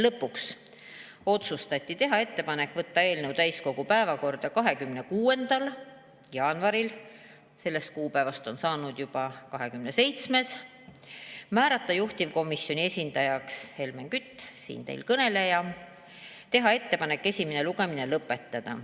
Lõpuks otsustati teha ettepanek võtta eelnõu täiskogu päevakorda 26. jaanuaril – sellest on saanud juba 27. jaanuar – määrata juhtivkomisjoni esindajaks Helmen Kütt, siinkõneleja, ja teha ettepanek esimene lugemine lõpetada.